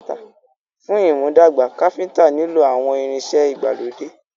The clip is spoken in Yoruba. Fún ìmúdàgbà, Káfíntà nilo àwọn ìrìn ìṣe ìgbàlódé.